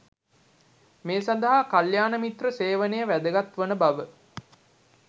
මේ සඳහා කල්‍යාණ මිත්‍ර සේවනය වැදගත් වන බව